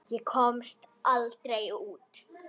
Ég komst aldrei út.